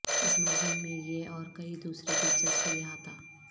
اس مضمون میں یہ اور کئی دوسرے دلچسپ احاطہ